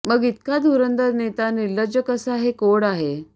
मग इतका धुरंदर नेता निर्लज्ज कसा हे कोड आहे